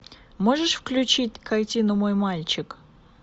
можешь включить картину мой мальчик